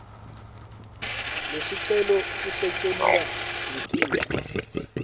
lesicelo sisetjentwa litiko